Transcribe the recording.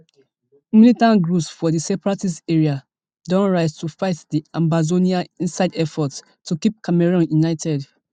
militant groups for di separatist areas don rise to fight di ambazonians inside effort to keep cameroon united